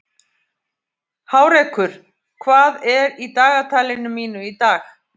Hárekur, hvað er í dagatalinu mínu í dag?